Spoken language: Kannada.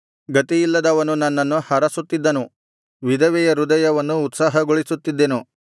ಗತಿಯಿಲ್ಲದವನು ನನ್ನನ್ನು ಹರಸುತ್ತಿದ್ದನು ವಿಧವೆಯ ಹೃದಯವನ್ನು ಉತ್ಸಾಹಗೊಳಿಸುತ್ತಿದ್ದೆನು